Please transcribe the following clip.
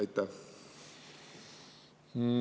Aitäh!